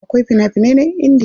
Akwai fina finan Indiya.